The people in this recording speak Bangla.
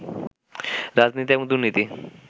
রাজনীতি এবং দুর্নীতি